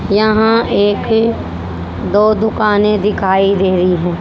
यहां एक दो दुकानें दिखाई दे रही है।